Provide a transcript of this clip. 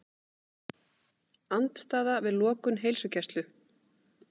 Andstaða við lokun heilsugæslu